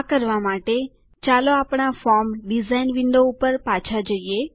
આ કરવા માટે ચાલો આપણા ફોર્મ ડીઝાઇન વિન્ડો ઉપર પાછા જઈએ